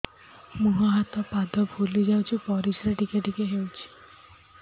ମୁହଁ ହାତ ପାଦ ଫୁଲି ଯାଉଛି ପରିସ୍ରା ଟିକେ ଟିକେ ହଉଛି